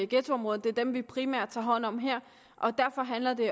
ghettoområderne det er dem vi primært tager hånd om her derfor handler det